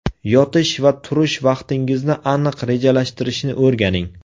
Yotish va turish vaqtingizni aniq rejalashtirishni o‘rganing.